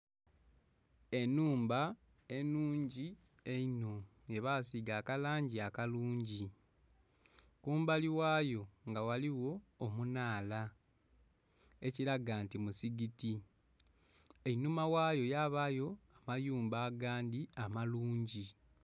Enhumba enhungi einho yebasiiga akalangi akalungi kumbali ghayo nga ghaligho omunhaala ekilaga nti musigiti, einhuma ghayo ghabayo amayumba agandhi amalungi.